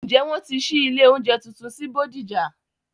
Ǹjẹ́ wọ́n ti ṣí ilé oúnjẹ tuntun sí bódìjà?